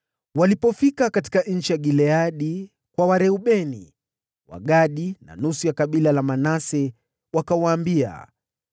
Walipofika Gileadi, kwa Wareubeni, Wagadi na nusu ya kabila la Manase, wakawaambia: